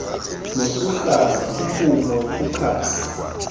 nokuhlala ukuma ukukhasa